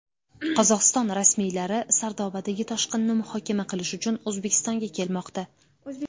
Qozog‘iston rasmiylari Sardobadagi toshqinni muhokama qilish uchun O‘zbekistonga kelmoqda.